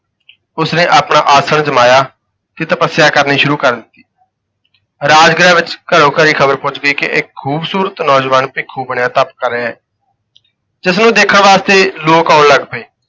ਉਸਨੇ ਆਪਣਾ ਆਸਣ ਜਮਾਇਆ ਤੇ ਤਪੱਸਿਆ ਕਰਨੀ ਸ਼ੁਰੂ ਕਰ ਦਿੱਤੀ। ਰਾਜਗ੍ਰਹਿ ਵਿੱਚ ਘਰੋਂ ਘਰੀ ਖ਼ਬਰ ਪਹੁੰਚ ਗਈ ਕਿ ਇੱਕ ਖੂਬਸੂਰਤ ਨੌਜਵਾਨ ਭੇਖੂ ਬਣਿਆ ਤਪ ਕਰ ਰਿਹਾ ਹੈ ਜਿਸਨੂੰ ਦੇਖਣ ਵਾਸਤੇ ਲੋਕ ਆਉਣ ਲੱਗ ਪਏ।